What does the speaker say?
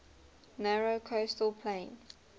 narrow coastal plain